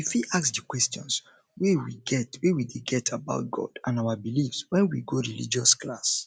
we fit ask di questions wey we dey get about god and our beliefs when we go religious class